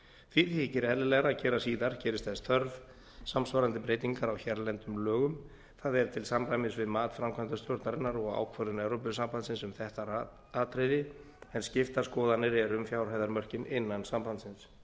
því þykir eðlilegra að gera síðar gerist þess þörf samsvarandi breytingar á hérlendum lögum þ e til samræmis við mat framkvæmdastjórnarinnar og ákvörðun evrópusambandsins um þetta atriði en skiptar skoðanir eru um fjárhæðarmörkin innan sambandsins